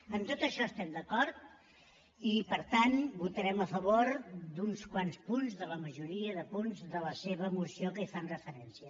amb tot això estem d’acord i per tant votarem a favor d’uns quants punts de la majoria de punts de la seva moció que hi fan referència